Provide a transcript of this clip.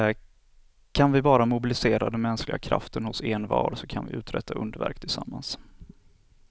Kan vi bara mobilisera den mänskliga kraften hos envar så kan vi uträtta underverk tillsammans.